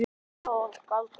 Töfrar og galdur.